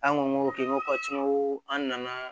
An ko k'i ko ka cun an nana